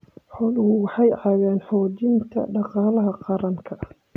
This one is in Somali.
Xooluhu waxay ka caawiyaan xoojinta dhaqaalaha qaranka.